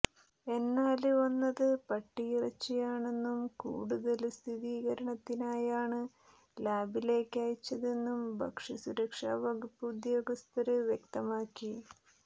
എന്നാല് വന്നത് പട്ടിയിറച്ചിയാണെന്നും കൂടുതല് സ്ഥിരീകരണത്തിനായാണ് ലാബിലേക്ക് അയച്ചതെന്നും ഭക്ഷ്യ സുരക്ഷാ വകുപ്പ് ഉദ്യോഗസ്ഥര് വ്യക്തമാക്കി